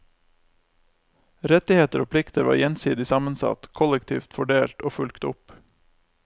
Rettigheter og plikter var gjensidig sammensatt, kollektivt fordelt og fulgt opp.